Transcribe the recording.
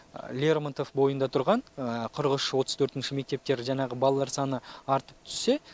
лермонтов бойында тұрған қырық үш отыз төртінші мектептер жаңағы балалар саны артып түссе